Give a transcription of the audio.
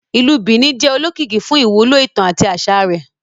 Ìlú Benin jẹ olókìkí fún ìwúlò ìtàn àti aṣa rẹ.